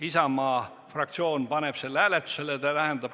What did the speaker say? Isamaa fraktsioon palub selle hääletusele panna.